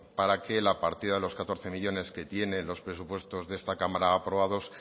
para que la partida de los catorce millónes que tiene los presupuestos de esta cámara aprobados